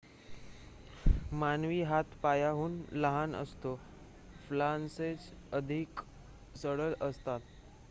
मानवी हात पायाहून लहान असतो फॅलांजेस अधिक सरळ असतात